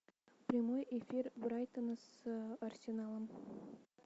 прямой эфир брайтона с арсеналом